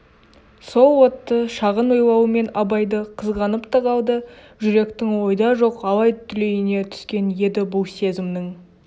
сол отты шағын ойлаумен абайды қызғанып та қалды жүректің ойда жоқ алай-түлейне түскен еді бұл сезімнің